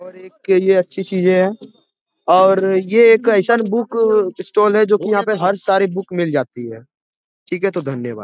और एक के लिए अच्छी चीजें है और ये एक बुक स्टॉल है जो की यहाँ पे हर सारी बुक मिल जाती है ठीक है तो धन्यवाद।